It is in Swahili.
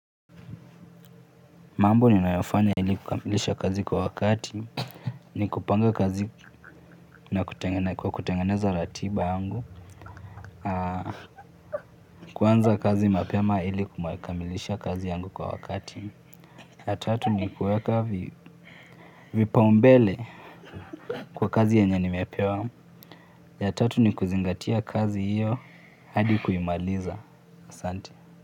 Mambo ninayofanya ili kukamilisha kazi kwa wakati, ni kupanga kazi kwa kutengeneza ratiba yangu, kuanza kazi mapema ili kukamilisha kazi yangu kwa wakati. Ya tatu ni kuweka vipao mbele kwa kazi yenye nimepewa, ya tatu ni kuzingatia kazi hiyo hadi kuimaliza asanti.